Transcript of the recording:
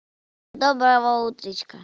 доброго утречка